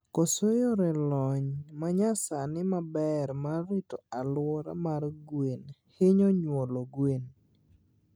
Koso yore lony manyasani maber mar rito aluora mar gwen hinyo nyuolo gwen